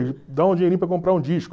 Dá um dinheirinho para eu comprar um disco.